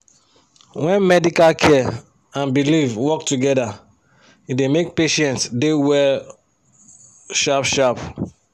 when medical care and belief work togeda e da make patients da well shap shap